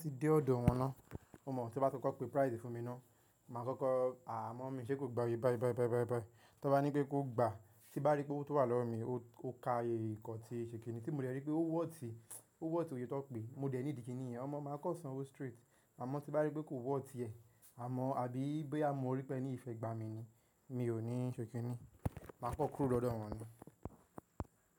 Tí dé ọ̀dọ̀ wọn ná, o mọ̀ tí wọ́n bá kọ́kọ́ pe prize fún mi ná, màá kọ́kọ́ à mọ̀ mi ṣé kò gba yìí báì báì báì báì báì. Tí wọ́n bá ní pé kó gbà, tí bá rí pé ó wà lọ́wọ́ mi, ó ka iye nkan ti ṣèkínní tí mo dẹ̀ rí pé ó wọ̀ tí, ó wọ̀ tí òye tó pè, mo dẹ̀ ní ìdí kiní ìyẹn, ọmọ màá kọ́ san o straight. Àmọ́ tí bá rí pé kò wọ̀ tí ẹ, àmọ́ àbí bí a mọ orí pé ẹ ní ìfẹ́ gba mi ni, mi ò ní ṣèkínní, màá kan kúrò lọ́dọ̀ wọn ni.